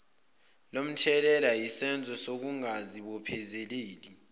lomthelela yisenzo sokungazibophezeli